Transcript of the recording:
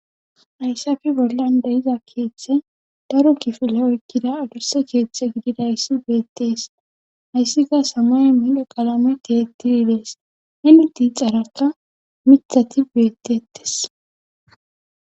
Ayssafi bollan deiza keeththe daro kifile oykkida adurse keeththe gididayssi beettees hayssika samoy midho qalame teettidi dees hemi ti carakka mithati beettettes.